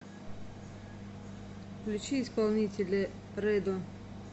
включи исполнителя рэдо